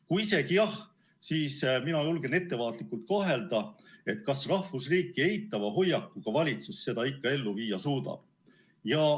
Kui isegi jah, siis mina julgen ettevaatlikult kahelda, kas rahvusriiki eitava hoiakuga valitsus seda ikka ellu viia suudab.